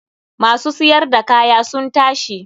Ma su siyar da kaya sun tashi.